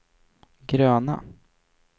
gröna